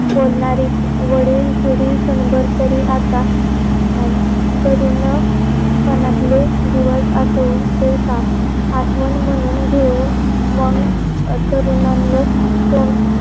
बोलणारे वडील पिडी क्षणभर तरी आता अं आता तरुण पणातले दिवस यातून ठेवता. आठवन मणून घेऊन मंग तरुणानले ले